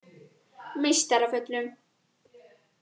Meistaravöllum